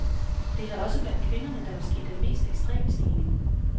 Det er da også blandt kvinderne, der vil ske den mest ekstreme stigning.